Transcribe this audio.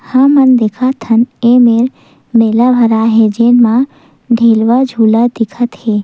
हमन देखत हन एमेर मेला भराए हे जेन म ढेलवा झूलत दिखत हे।